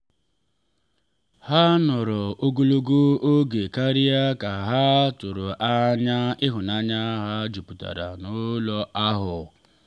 ha nọrọ ogologo oge karịa ka ha tụrụ anya ịhụnanya ha juputara n’ụlọ ahụ